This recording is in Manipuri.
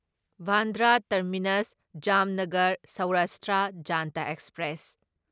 Bandra terminus Jamnagar Saurashtra Janta express